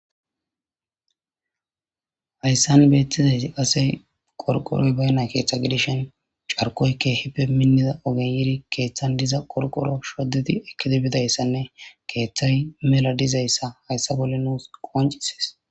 hayssan beettizayti qase qorqoroy beyna keeththa gidishen carkoy kehippe minnida ogen yiiri keeththan diza qorqoro shodedi ekidebidayssanne keeththay mela dizayssa hayssa bolle nuus qancises